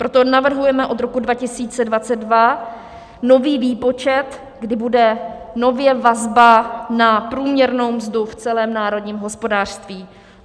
Proto navrhujeme od roku 2022 nový výpočet, kdy bude nově vazba na průměrnou mzdu v celém národním hospodářství.